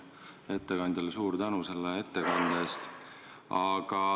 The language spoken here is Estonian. Ettekandjale suur tänu selle ettekande eest!